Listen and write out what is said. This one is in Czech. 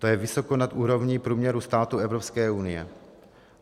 To je vysoko nad úrovni průměru států Evropské unie.